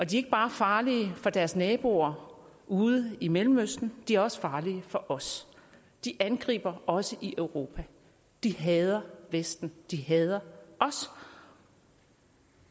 de ikke bare er farlige for deres naboer ude i mellemøsten de er også farlige for os de angriber også i europa de hader vesten de hader os